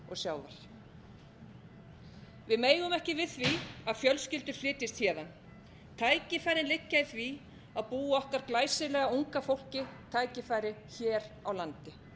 sjávar við megum ekki við því að fjölskyldur flytjist héðan tækifærin liggja í því að búa okkar glæsilega unga fólki tækifæri hér á landi